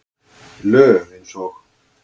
Lög eins og